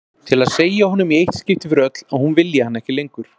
Til að segja honum í eitt skipti fyrir öll að hún vilji hann ekki lengur.